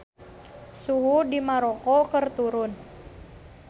Suhu di Maroko keur turun